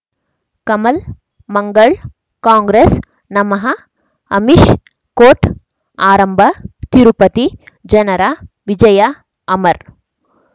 ಕಮಲ್ ಮಂಗಳ್ ಕಾಂಗ್ರೆಸ್ ನಮಃ ಅಮಿಷ್ ಕೋರ್ಟ್ ಆರಂಭ ತಿರುಪತಿ ಜನರ ವಿಜಯ ಅಮರ್